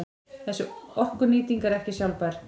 Þessi orkunýting er ekki sjálfbær.